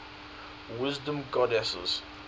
wisdom goddesses